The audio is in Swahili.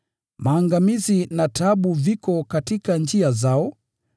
maangamizi na taabu viko katika njia zao,